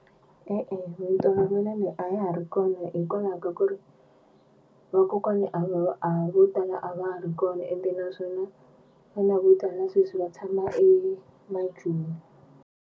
E-e mintolovelo leyi a ya ha ri kona hikwalaho ka ku ri vakokwana a va a vo tala a va ha ri kona ende naswona vana vo tala sweswi va tshama emaJoni.